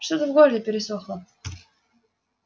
что-то в горле пересохло